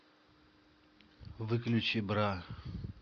выключи бра